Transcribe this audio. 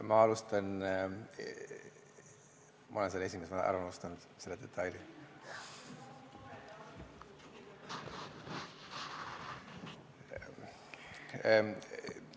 Ma olen esimese ära unustanud, selle detaili.